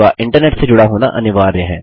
आपका इंटरनेट से जुड़ा होना अनिवार्य है